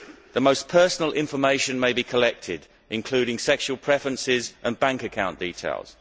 The most personal information may be collected, including sexual preferences and bank account details.